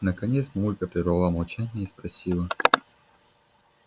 наконец мамулька прервала молчание и спросила